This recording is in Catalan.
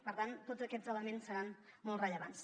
per tant tots aquests elements seran molt rellevants